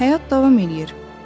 Həyat davam eləyir.